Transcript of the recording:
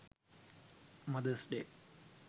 mothers day